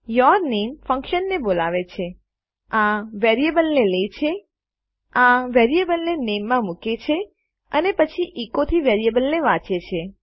your name ફન્કશનને બોલાવે છે આ વેરીએબલને લે છે આ વેરીએબલને નામે માં મુકે છે અને પછી એકો થી વેરીએબલ ને વાંચે છે